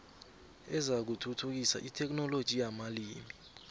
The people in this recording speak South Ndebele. ezakuthuthukisa itheknoloji yamalimi